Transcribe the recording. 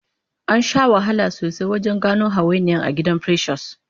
Ansha wahala sosai wajen gano hawainiyan agidan precious